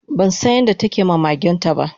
bansan yadda takema magenta